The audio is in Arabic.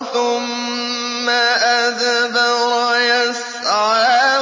ثُمَّ أَدْبَرَ يَسْعَىٰ